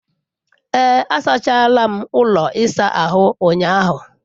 Ee, asachara m ụlọ ịsa ahụ ụnyahụ.